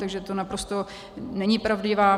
Takže to naprosto není pravdivé.